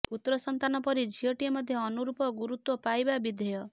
ପୁତ୍ରସନ୍ତାନ ପରି ଝିଅଟିଏ ମଧ୍ୟ ଅନୁରୂପ ଗୁରୁତ୍ୱ ପାଇବା ବିଧେୟ